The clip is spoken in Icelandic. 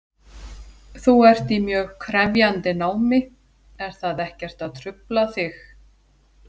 Þú ert í mjög krefjandi námi, er það ekkert að trufla þig?